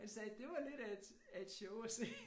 Han sagde det var lidt af et af et show at se